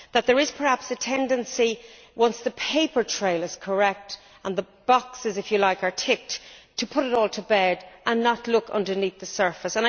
There is perhaps a tendency, once the paper trail is correct and the boxes are ticked, to put it all to bed and not look underneath the surface.